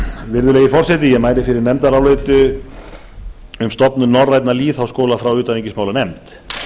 virðulegi forseti ég mæli fyrir nefndaráliti um stofnun norrænna lýðháskóla frá utanríkismálanefnd